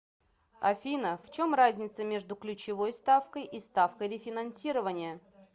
афина в чем разница между ключевой ставкой и ставкой рефинансирования